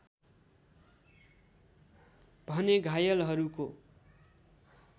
भने घायलहरूको